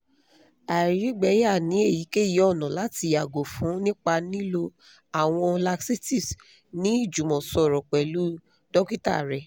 àìrígbẹyà ni eyikeyi ọna lati yago fun nipa lilo awọn laxatives ni ijumọsọrọ pẹlu dokita rẹ